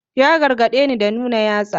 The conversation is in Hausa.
Ya gargadeni da nuna yatsa.